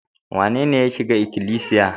Wanene ya shiga ikilisiya?